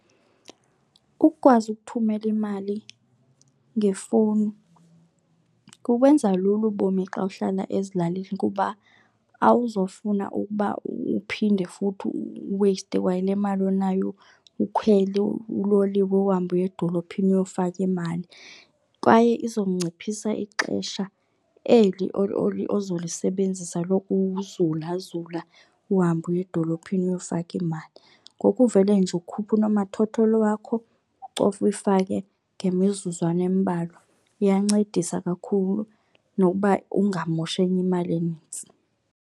Ukukwazi ukuthumela imali ngefowuni kubenza lula ubomi xa uhlala ezilalini kuba awuzofuna ukuba uphinde futhi uweyiste kwale mali onayo ukhwele uloliwe uhambe uye edolophini uyofaka imali. Kwaye izonciphisa ixesha eli ozolisebenzisa lokuzulazula uhambe uye edolophini uyofaka iimali. Ngoku uvele nje ukhuphe unomathotholo wakho ucofe uyifake ngemizuzwana embalwa. Iyancedisa kakhulu nokuba ungamoshi enye imali enintsi.